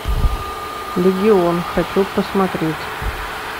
легион хочу посмотреть